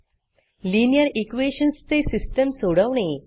linear equationsलीनीयर equations चे system सोडवणे